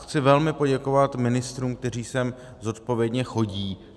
Chci velmi poděkovat ministrům, kteří sem zodpovědně chodí.